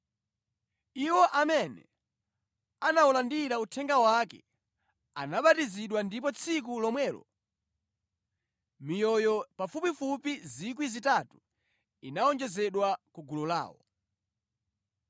Iwo amene anawulandira uthenga wake anabatizidwa ndipo tsiku lomwelo miyoyo pafupifupi 3,000 inawonjezedwa ku gulu lawo.